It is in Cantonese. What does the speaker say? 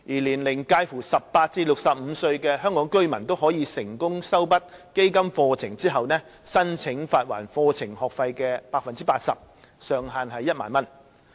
年齡介乎18至65歲的香港居民均可在成功修畢基金課程後，申請發還課程學費的 80%， 上限為1萬元。